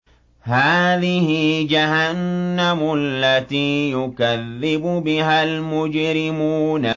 هَٰذِهِ جَهَنَّمُ الَّتِي يُكَذِّبُ بِهَا الْمُجْرِمُونَ